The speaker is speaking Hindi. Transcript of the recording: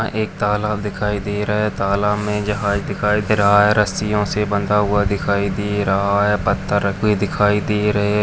यहाँ एक तालाब दिखाई दे रहा है तालाब मे जहाज दिखाई दे रहा है रस्सियों से बंधा हुआ दिखाई दे रहा है पत्थर हुए रखे दिखाई दे--